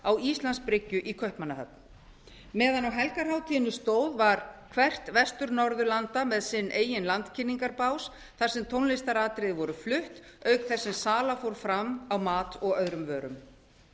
á íslandsbryggju í kaupmannahöfn meðan á helgarhátíðinni stóð var hvert vestur norðurlanda með sinn eigin landkynningarbás þar sem tónlistaratriði voru flutt auk þess sem sala fór fram á mat og öðrum vörum